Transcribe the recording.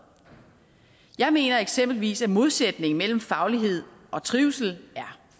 jeg mener eksempelvis at modsætningen mellem faglighed og trivsel er